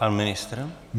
Pan ministr?